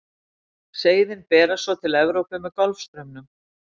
seiðin berast svo til evrópu með golfstraumnum